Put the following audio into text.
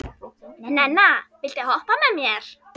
Nenna, viltu hoppa með mér?